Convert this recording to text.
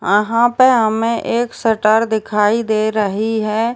आहाँ पर हमें एक शटर दिखाई दे रही है।